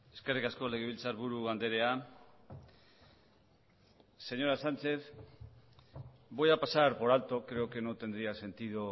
eskerrik asko legebiltzarburu andrea señora sánchez voy a pasar por alto creo que no tendría sentido